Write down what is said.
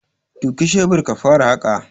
Duki shebir ka fara haƙa.